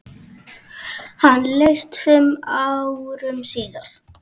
Hann lést fimm árum síðar.